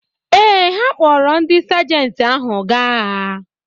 Ee, ha kpọọrọ ndị Sajenti ahụ gaa agha.